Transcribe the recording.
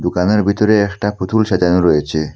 দুকানের ভিতরে একটা পুতুল সাজানো রয়েছে।